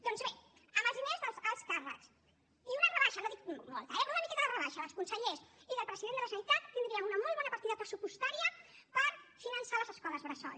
doncs bé amb els diners dels alts càrrecs i una rebaixa no dic molta eh però una miqueta de rebaixa dels consellers i del president de la generalitat tindríem una molt bona partida pressupostària per finançar les escoles bressol